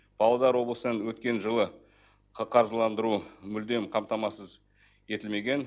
павлодар облысын өткен жылы қаржыландыру мүлдем қамтамасыз етілмеген